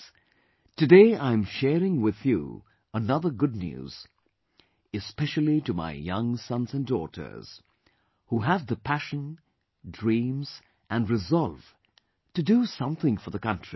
Friends, today I am sharing with you another good news, especially to my young sons and daughters, who have the passion, dreams and resolve to do something for the country